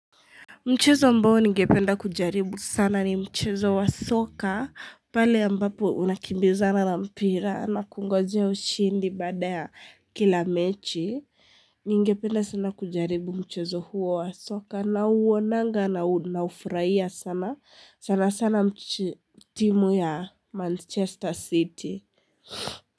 Mchezo ambao ningependa kujaribu sana ni mchezo wa soka pale ambapo unakimbizana na mpira na kungojea ushindi baada ya kila mechi. Ningependa sana kujaribu mchezo huo wa soka nauonanga na ufurahia sana sana sana timu ya manchester city.